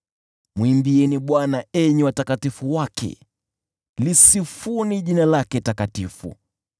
Mwimbieni Bwana , enyi watakatifu wake; lisifuni jina lake takatifu.